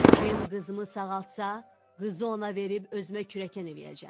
Kim qızımı sağaltsa, qızı ona verib özümə kürəkən eləyəcəm.